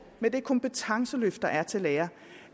med det kompetenceløft der er til lærere